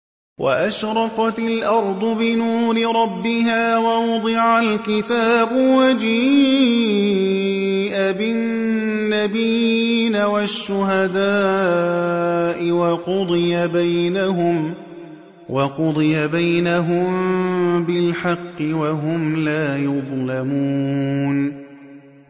وَأَشْرَقَتِ الْأَرْضُ بِنُورِ رَبِّهَا وَوُضِعَ الْكِتَابُ وَجِيءَ بِالنَّبِيِّينَ وَالشُّهَدَاءِ وَقُضِيَ بَيْنَهُم بِالْحَقِّ وَهُمْ لَا يُظْلَمُونَ